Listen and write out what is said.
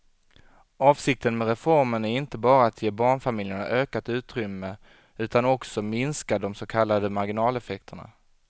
Avsikten med reformen är inte bara att ge barnfamiljerna ökat utrymme utan också minska de så kallade marginaleffekterna.